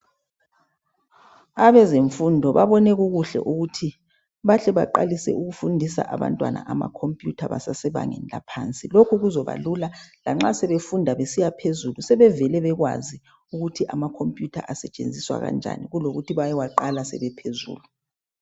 Abezemfundo babone kukuhle ukuthi bahle beqalise kufundisa abantwana ama khompuyutha besasebangeni laphansi, lokhu kazaba lula lanxa sebefunda besiya phezulu sebevele bekwazi ukuthi amakhompuyutha asetshenziswa kanjani kulokuthi bayewaqala sebephezulu.